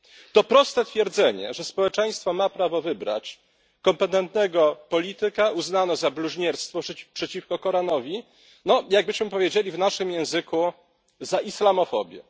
To proste stwierdzenie, że społeczeństwo ma prawo wybrać kompetentnego polityka, uznano za bluźnierstwo przeciwko Koranowi, czyli jakbyśmy powiedzieli w naszym języku za islamofobię.